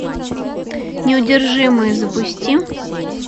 неудержимые запусти